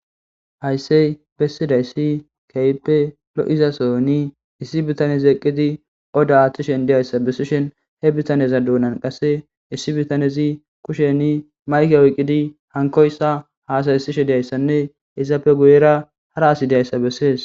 hayssey bessidayssi keyppe lo7izasoni issi bitanezi eqqidi odda aaththishen diyayssa bessishen he bitaneza duunan qasse issi bitanezi kusheni mayke oyqqidi hankoyssa haasaysishe deyayssanne izappe guyera hara asi deyayssa bessees